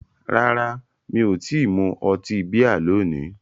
Rárá, mi ò tí ì mu ọtí bíà lónìí